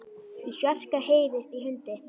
Í fjarska heyrist í hundi.